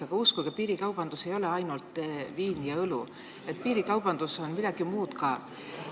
Aga uskuge, piirikaubandus ei ole ainult viin ja õlu, piirikaubandus on midagi muud ka.